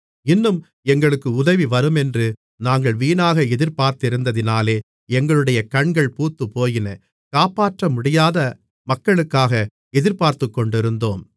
இன்னும் எங்களுக்கு உதவி வருமென்று நாங்கள் வீணாக எதிர்பார்த்திருந்ததினாலே எங்களுடைய கண்கள் பூத்துப்போயின காப்பாற்றமுடியாத மக்களுக்காக எதிர்பார்த்துக்கொண்டிருந்தோம்